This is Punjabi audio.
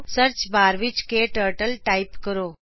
ਸਰਚਬਾਰ ਵਿੱਚ ਕਟਰਟਲ ਟਾਇਪ ਕਰੋ